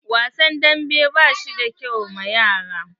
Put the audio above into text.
Wasan dambe ba shi da kyau ma yara.